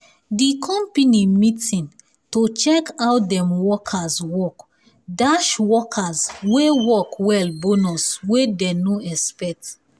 the company meeting to check how dem workers workdash workers wey work well bonus wey dey no expect